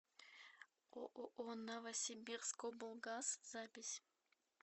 ооо новосибирскоблгаз запись